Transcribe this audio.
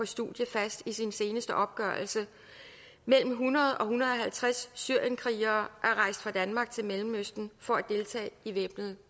studier fast i sin seneste opgørelse mellem hundrede og en hundrede og halvtreds syrienskrigere er rejst fra danmark til mellemøsten for at deltage i væbnede